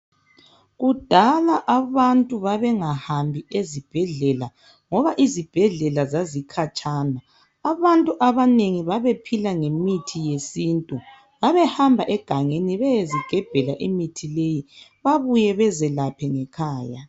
Kudala abantu babengahambi ezibhedlela ngoba izibhedlela zazikhatshana. Abantu abanengi babephila ngemithi yesintu. Babehamba egangeni beyezigebhela imithi leyi babuye bezelaphe ngekhaya